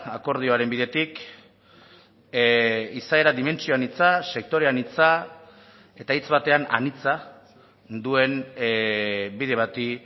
akordioaren bidetik izaera dimentsio anitza sektore anitza eta hitz batean anitza duen bide bati